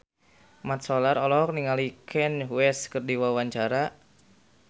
Mat Solar olohok ningali Kanye West keur diwawancara